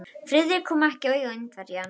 Friðrik kom ekki auga á Indverjann.